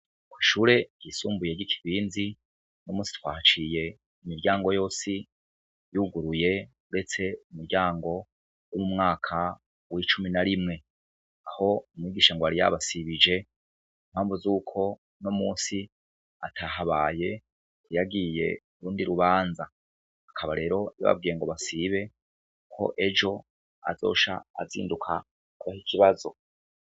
Kw'ishure ryisumbuye ry'i Kirinzi, uno munsi twahaciye imiryango yose yuguruye uretse umuryango w'umwaka w'icumi na rimwe, aho umwigisha ngo yari yabasibije, ku mpamvu zuko uno munsi atahabaye yagiye kurindi rubanza, akaba rero yababwiye ngo basibe ko ejo azoca azinduka kubaha ikibazo.